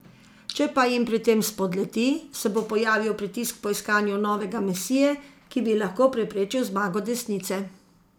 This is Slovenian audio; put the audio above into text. Če pa jim pri tem spodleti, se bo pojavil pritisk po iskanju novega mesije, ki bi lahko preprečil zmago desnice.